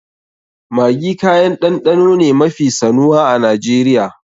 Maggi kayan ɗanɗano ne mafi sanuwa a Najeriya.